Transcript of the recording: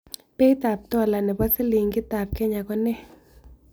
Beit ap tola ne po silingitap kenya ko nee